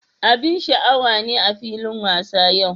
Abin sha'awa ne a filin wasa yau.